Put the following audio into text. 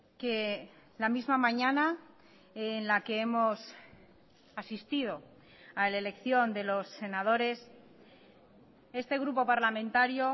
que la misma mañana en la que hemos asistido a la elección de los senadores este grupo parlamentario